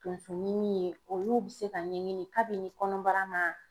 Tonsoɲimi ye olu bɛ se ka ɲɛɲini kabini kɔnɔbara man